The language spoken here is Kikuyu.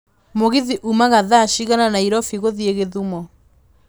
mũgithi ũmaga thaa cigana Nairobi gũthiĩ githumo